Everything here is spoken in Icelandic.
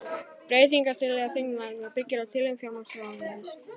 Breytingartillaga þingnefndarinnar byggir á tillögum fjármálaráðuneytisins